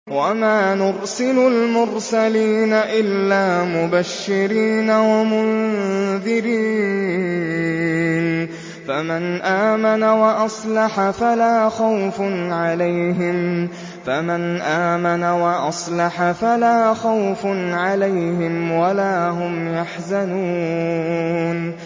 وَمَا نُرْسِلُ الْمُرْسَلِينَ إِلَّا مُبَشِّرِينَ وَمُنذِرِينَ ۖ فَمَنْ آمَنَ وَأَصْلَحَ فَلَا خَوْفٌ عَلَيْهِمْ وَلَا هُمْ يَحْزَنُونَ